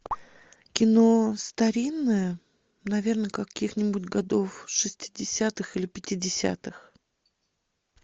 кино старинное наверное каких нибудь годов шестидесятых или пятидесятых